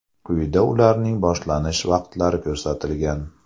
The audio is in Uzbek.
Quyida ularning boshlanish vaqtlari ko‘rsatilgan.